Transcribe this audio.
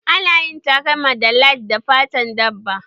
Ana yin takalma da lead da fatan dabba